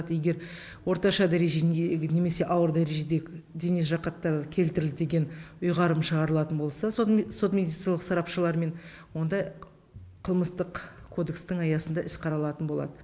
егер орташа дәрежендегі немесе ауыр дәрежедегі дене жарақаттары келтірілді деген ұйғарым шығарылатын болса сот медицилық сарапшылармен онда қылмыстық кодекстің аясында іс қаралатын болады